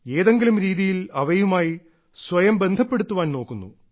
ഏതെങ്കിലും രീതിയിൽ അവയുമായി സ്വയം ബന്ധപ്പെടുത്തുവാൻ നോക്കുന്നു